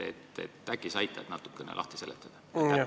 Äkki sa aitad natukene lahti seletada?